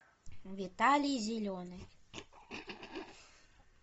виталий зеленый